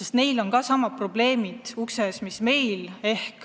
Soomes on ju samad probleemid ukse ees mis meil.